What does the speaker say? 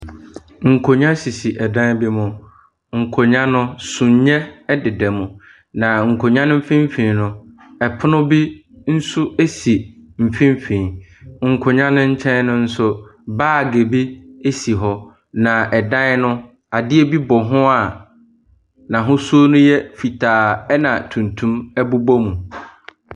Nkonnwa sisi ɛdan bi mu. Nkonnwa no, sumiiɛ deda mu. Na nkonnwa mfimfini no, ɛpono bi nso esi mfimfini. Nkonnwa no nkyɛn nso, baage bi si hɔ. Na ɛdan no, adeɛ bɔ ho a n'ahosuo no yɛ fitaa na tuntum bobɔ mu.